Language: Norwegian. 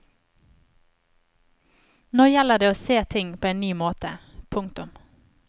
Nå gjelder det å se ting på en ny måte. punktum